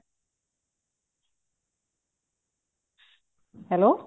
hello